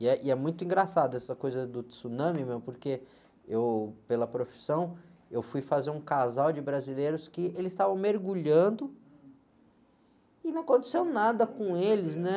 E é, e é muito engraçado essa coisa do tsunami, meu, porque eu, pela profissão, eu fui fazer um casal de brasileiros que eles estavam mergulhando e não aconteceu nada com eles, né?